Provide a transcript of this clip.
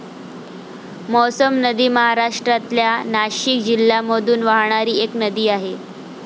मौसम नदी महाराष्ट्रातल्या नाशिक जिल्ह्यामधून वाहणारी एक नदी आहे.